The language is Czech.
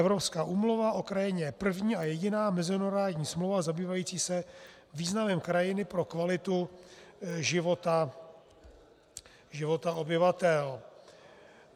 Evropská úmluva o krajině je první a jediná mezinárodní smlouva zabývající se významem krajiny pro kvalitu života obyvatel.